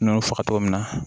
N'i y'u faga togo min na